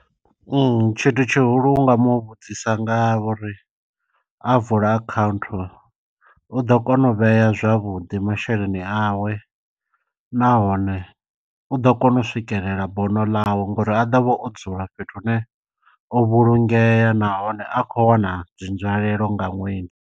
Tshithu tshihulu u nga mu vhudzisa nga uri a vula akhaunthu u ḓo kona u vhea zwavhuḓi masheleni awe. Nahone u ḓo kona u swikelela bono ḽawe ngori a ḓovha o dzula fhethu hune o vhulungeya nahone a kho wana dzi nzwalelo nga ṅwedzi.